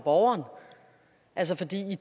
og